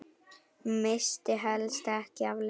Missti helst ekki af leik.